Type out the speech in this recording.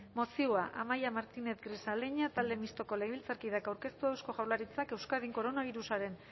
mozioa amaia martínez grisaleña talde mistoko legebiltzarkideak aurkeztua eusko jaurlaritzak euskadin koronabirusaren